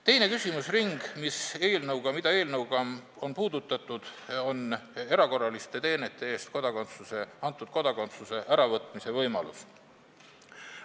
Teine küsimusring, mida on eelnõuga puudutatud, on erakorraliste teenete eest antud kodakondsuse äravõtmise võimalus.